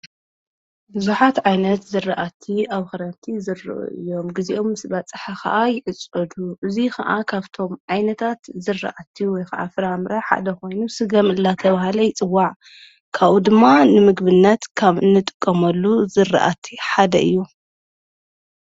ብዙኃት ዓይነት ዘረኣቲ ኣብ ኽረንቲ ዘርዑ እዮም ጊዜኦም ስ በጽሕ ኸዓ ይእጾዱ እዙይ ኸዓ ኻብቶም ዓይነታት ዘረአቲ ወይፍዓፍራ እምራ ሓደ ኾይኑ ሥገምላተብሃለ ይጽዋዕ ካኡ ድማ ንምግብነት ካብ ንጥቀሞሉ ዘረአቲ ሓደ እዩ::